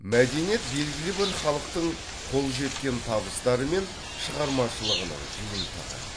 мәдениет белгілі бір халықтың қол жеткен табыстары мен шығармашылығының жиынтығы